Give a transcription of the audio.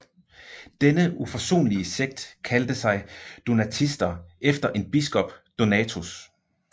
Denne uforsonlige sekt kaldte sig donatister efter en biskop Donatus